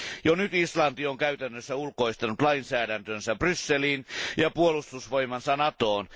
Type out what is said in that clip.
Jo nyt Islanti on käytännössä ulkoistanut lainsäädäntönsä Brysseliin ja puolustusvoimansa Natoon.